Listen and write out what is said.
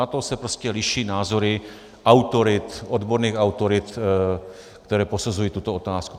Na to se prostě liší názory autorit, odborných autorit, které posuzují tuto otázku.